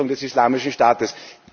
A Bekämpfung des Islamischen Staates.